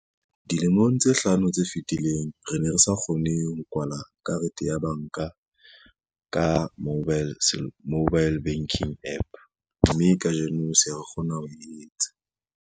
Dilemong tse hlano tse fetileng, re ne re sa kgone ho kwala karete ya banka ka mobile banking app, mme kajeno se re kgona ho e etsa.